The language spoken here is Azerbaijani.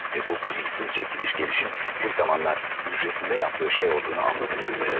Və bu şüursuz gediş-gəlişin bir zamanlar hücrəsində etdiyi şey olduğunu dəhşətlə anladım.